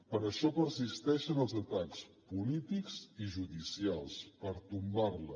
per això persisteixen els atacs polítics i judicials per tombar la